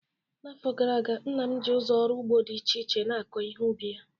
N'afọ gara aga, nna m ji ụzọ ọrụ ugbo dị iche iche na-akọ ihe ubi ya